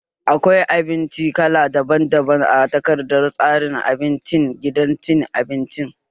Akwai abinci kala daban daban a takardar tsarin abincin gidan cin abinci